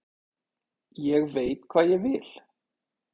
Ég veit hvað ég vil!